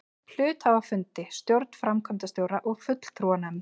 hluthafafundi, stjórn, framkvæmdastjóra og fulltrúanefnd.